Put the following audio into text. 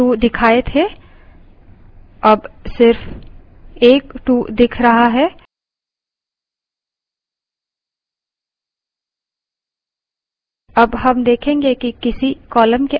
पिछली बार दो 2 दिखाए थे और अब सिर्फ एक 2 दिख रहा है